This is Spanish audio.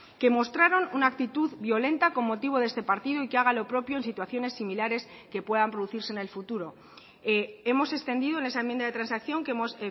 que mostraron una actitud violenta con motivo de este partido y que haga lo propio en situaciones similares que puedan producirse en el futuro hemos extendido en esa enmienda de transacción que hemos